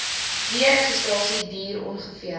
deregistrasie duur ongeveer